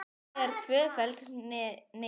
Þetta er tvöföld neitun.